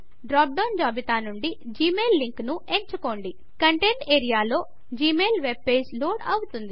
drop down జాబితా నుండి Gmail link ను ఎంచుకోండి కంటెంట్స్ ఏరియాలో జిమెయిల్ వెబ్పేజ్ లోడ్ అవుతుంది